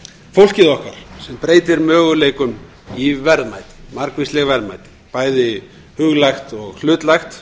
fólkið okkar sem breytir möguleikum í margvísleg verðmæti bæði huglægt og hlutlægt